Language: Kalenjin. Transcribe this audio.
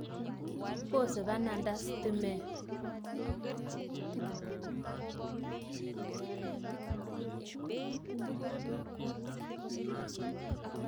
Pose pananda stimeet